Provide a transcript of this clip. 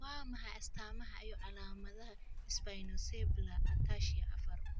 Waa maxay astamaha iyo calaamadaha Spinocerebellar ataxia afar?